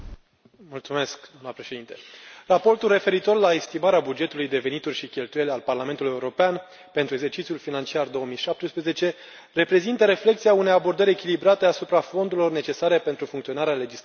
Doamnă președintă, raportul referitor la estimarea bugetului de venituri și cheltuieli al Parlamentului European pentru exercițiul financiar 2017 reprezintă reflecția unei abordări echilibrate asupra fondurilor necesare pentru funcționarea legislativului european.